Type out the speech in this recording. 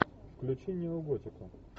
включи неоготику